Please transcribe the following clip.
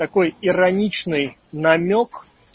такой ироничной намёк